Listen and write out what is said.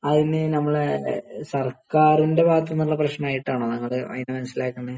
അതിന് നമ്മള് സർക്കാരിൻറെ ഭാഗത്തൂന്നുള്ള പ്രശ്നമായിട്ടാണോ നിങ്ങള് അതിനെ മനസ്സിലാക്കുന്നെ?